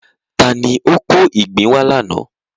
Ta ni ó kó ìgbín wá lánàá?